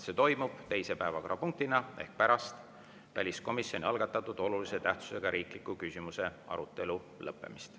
See toimub teise päevakorrapunktina ehk pärast väliskomisjoni algatatud olulise tähtsusega riikliku küsimuse arutelu lõppemist.